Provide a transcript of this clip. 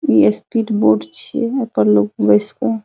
इ speed board छीये ए पर लोग बेस के --